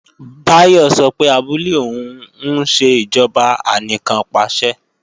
Báyọ̀ sọ pé abúlé òun ń ṣe ìjọba anìkannpàṣẹ